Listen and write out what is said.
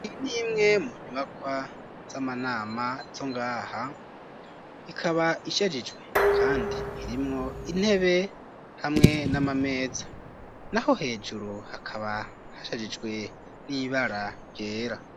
Iyi nimwe mu nyubakwa z'amanama zongaha, ikaba ishagijwe kandi irimwo intebe hamwe n'amameza naho hejuru hakaba hashajijwe n'ibara ryera.